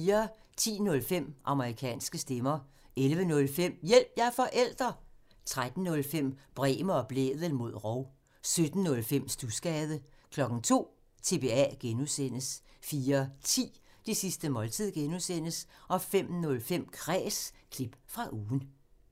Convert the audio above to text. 10:05: Amerikanske stemmer 11:05: Hjælp – jeg er forælder! 13:05: Bremer og Blædel mod rov 17:05: Studsgade 02:00: TBA (G) 04:10: Det sidste måltid (G) 05:05: Kræs – klip fra ugen (G)